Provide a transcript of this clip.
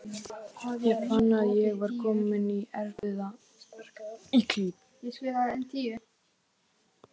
Ég fann að ég var kominn í erfiða klípu.